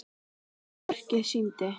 Annað verkið sýndi